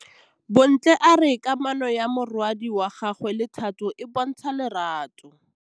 Bontle a re kamanô ya morwadi wa gagwe le Thato e bontsha lerato.